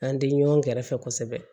An tɛ ɲɔn gɛrɛfɛ kosɛbɛ